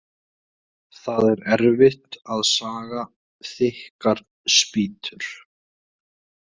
Það er erfitt að saga þykkar spýtur.